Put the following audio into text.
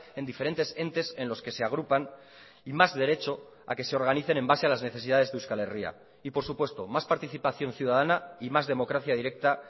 en diferentes entes en los que se agrupan y más derecho a que se organicen en base a las necesidades de euskal herria y por supuesto más participación ciudadana y más democracia directa